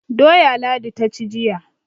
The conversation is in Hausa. Doya Ladi ta ci jiya.